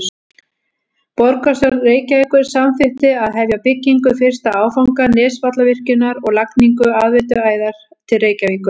Borgarstjórn Reykjavíkur samþykkti að hefja byggingu fyrsta áfanga Nesjavallavirkjunar og lagningu aðveituæðar til Reykjavíkur.